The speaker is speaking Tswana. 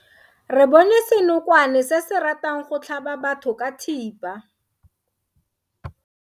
Re bone senokwane se se ratang go tlhaba batho ka thipa.